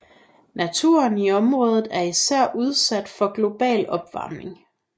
Naturen i området er især udsat for global opvarmning